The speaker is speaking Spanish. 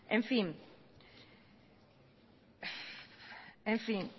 en fin